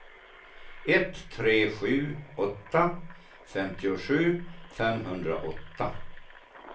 ett tre sju åtta femtiosju femhundraåtta